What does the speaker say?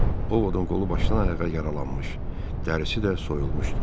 Ovodun qolu başdan ayağa yaralanmış, dərisi də soyulmuşdu.